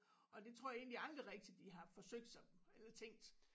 Og det tror jeg egentlig aldrig rigtig de har forsøgt sig eller tænkt